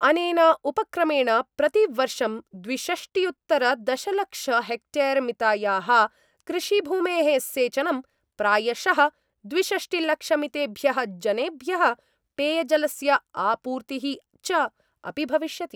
अनेन उपक्रमेण प्रतिवर्षं द्विषष्ट्युत्तरदशलक्ष हेक्टेयरमितायाः कृषिभूमेः सेचनं, प्रायशः द्विषष्टिलक्षमितेभ्यः जनेभ्यः पेयजलस्य आपूर्तिः च अपि भविष्यति।